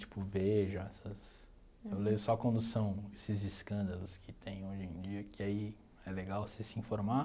Tipo, Veja, essas... Eu leio só quando são esses escândalos que tem hoje em dia, que aí é legal você se informar.